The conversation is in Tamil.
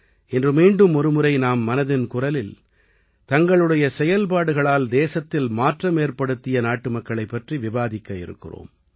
இன்று மீண்டும் ஒருமுறை நாம் மனதின் குரலில் தங்களுடைய செயல்பாடுகளால் தேசத்தில் மாற்றமேற்படுத்திய நாட்டுமக்களைப் பற்றி விவாதிக்க இருக்கிறோம்